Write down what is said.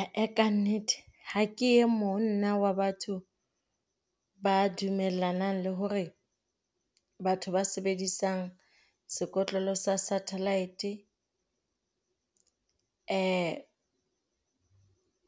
Ah-eh kannete ha ke e mong nna wa batho ba dumellanang le hore batho ba sebedisang sekotlolo sa satellite,